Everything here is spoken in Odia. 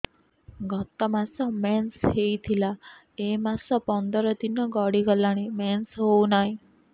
ଗତ ମାସ ମେନ୍ସ ହେଇଥିଲା ଏ ମାସ ପନ୍ଦର ଦିନ ଗଡିଗଲାଣି ମେନ୍ସ ହେଉନାହିଁ